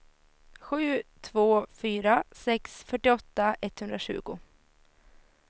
sju två fyra sex fyrtioåtta etthundratjugo